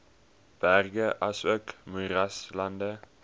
berge asook moeraslande